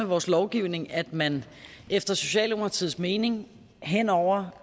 vores lovgivning at man efter socialdemokratiets mening hen over